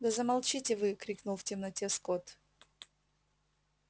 да замолчите вы крикнул в темноте скотт